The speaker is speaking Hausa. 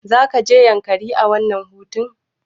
Zakuje yankari a wannan hutun?